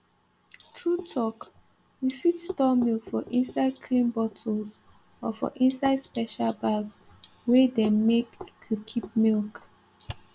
true talk we fit store milk for inside clean bottles or for inside special bags wey them make to keep milk